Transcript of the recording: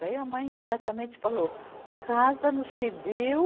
Daí a mãe imediatamente falou, casa no civil